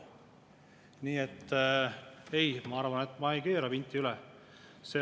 Nii et ei, ma arvan, et ma ei keera vinti üle.